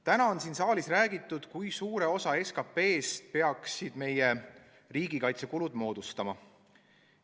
Täna on siin saalis räägitud, kui suure osa SKP-st peaksid meie riigikaitsekulud moodustama.